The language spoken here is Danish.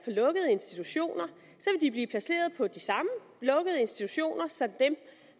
lukkede institutioner blive placeret på de samme lukkede institutioner som dem